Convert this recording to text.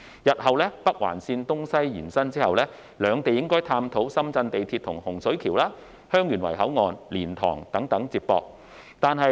日後，北環綫東西延伸後，兩地應探討深圳地鐵系統可如何接駁至洪水橋、香園圍口岸、蓮塘等。